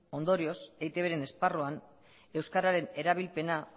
ondorioz eitbren esparruan euskararen erabilpena